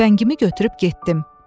Tüfəngimi götürüb getdim.